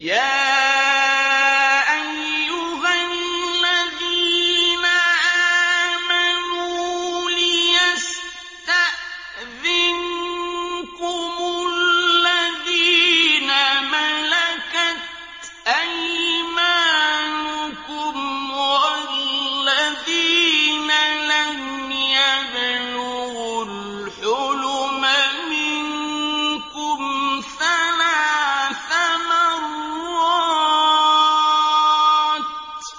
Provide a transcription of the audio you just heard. يَا أَيُّهَا الَّذِينَ آمَنُوا لِيَسْتَأْذِنكُمُ الَّذِينَ مَلَكَتْ أَيْمَانُكُمْ وَالَّذِينَ لَمْ يَبْلُغُوا الْحُلُمَ مِنكُمْ ثَلَاثَ مَرَّاتٍ ۚ